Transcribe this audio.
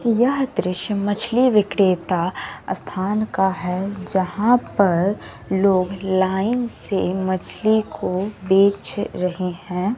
यह दृश्य मछली विक्रेता स्थान का है जहां पर लोग लाइन से मछली को बेच रहे हैं।